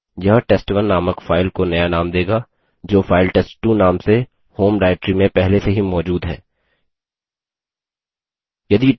यह test1 named file को नया named देगा जो फाइल test2 named से home directory में पहले से ही मौजूद है